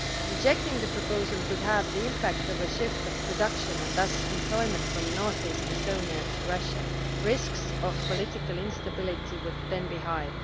Rejecting the proposal could have the impact of a shift of production and thus employment from north east Estonia to Russia, and the risk of political instability would then be high.